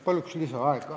Palun lisaaega!